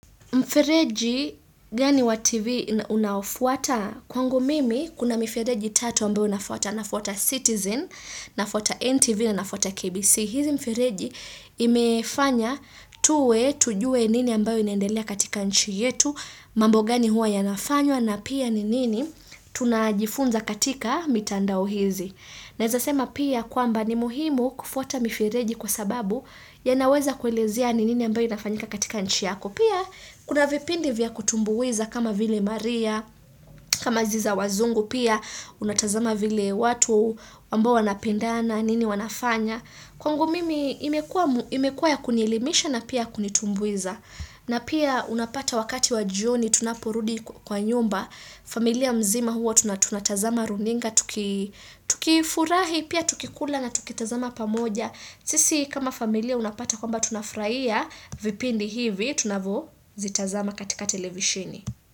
Mfereji gani wa tv unaofuata kwangu mimi kuna mifereji tatu ambayo nafuata nafuata Citizen, nafouaa NTV, na nafuata KBC. Hizi mifereji imefanya tuwe tujue nini ambayo inaendelea katika nchi yetu, mambo gani huwa yanafanywa na pia ni nini tunajifunza katika mitandao hizi. Naweza sema pia kwamba ni muhimu kufuata mifereji kwa sababu yanaweza kwelezea nini ambayo inafanyika katika nchi yako. Pia, kuna vipindi vya kutumbuiza kama vile maria, kama hizi za wazungu pia, unatazama vile watu, ambao wanapendana, nini wanafanya. Kwangu mimi, imekuwa ya kunielimisha na pia kunitumbuiza. Na pia, unapata wakati wa jioni, tunaporudi kwa nyumba, familia mzima huwa, tunatazama runinga, tukifurahi, pia tukikula na tukitazama pamoja. Sisi kama familia unapata kwamba tunafurahia vipindi hivi tunavo zitazama katika televisheni.